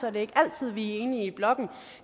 er det ikke altid at vi er enige i blokken